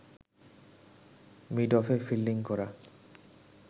মিডঅফে fielding করা